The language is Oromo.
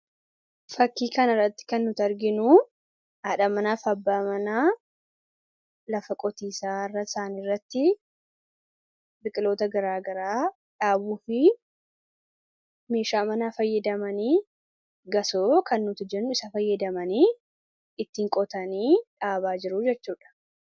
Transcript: Fakkii kana irratti kan arginu, haadha manaa fi abbaa manaa lafa qotiisaa isaanii irratti biqiloota garaagaraa dhaabuu fi meeshaa manaa fayyadamanii gasoo kan nuti jennu fayyadamanii, ittiin qotanii dhaabaa jiru jechuudha.